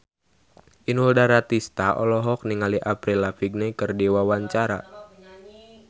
Inul Daratista olohok ningali Avril Lavigne keur diwawancara